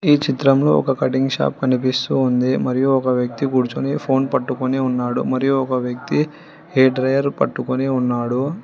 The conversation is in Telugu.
ఈ చిత్రంలో ఒక కటింగ్ షాప్ కనిపిస్తూ ఉంది మరియు ఒక వ్యక్తి కూర్చొని ఫోన్ పట్టుకొని ఉన్నాడు మరియు ఒక వ్యక్తి హెయిర్ డ్రయర్ పట్టుకొని ఉన్నాడు.